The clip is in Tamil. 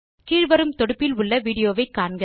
கீழ் வரும் தொடுப்பில் உள்ள விடியோவை காணவும்